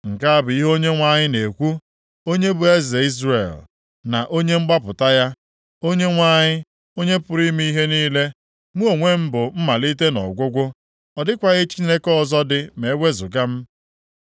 “Nke a bụ ihe Onyenwe anyị na-ekwu, onye bụ Eze Izrel na Onye mgbapụta ya, Onyenwe anyị, Onye pụrụ ime ihe niile: Mụ onwe bụ Mmalite na Ọgwụgwụ; ọ dịkwaghị Chineke ọzọ dị ma ewezuga m.